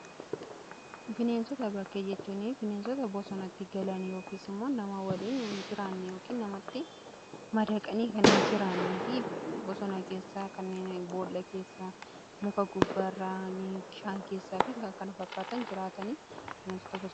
Bineensota bakkee jechuun bineensota bosonatti galan yookiis immoo nama waliin ni jiraanne yookiin namatti madaqanii kan hin jiraannee fi bosona keessaa kanneen boolla keessaa muka gubbaa irraan bishaan keessaa fi kan kana fakkaatan jiraataniidha.